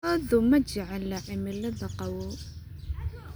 Lo'du ma jecla cimilada qabow.